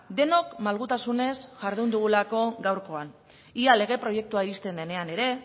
denok malgutasunez jardun dugulako gaurkoan ea lege proiektua ixten denean ere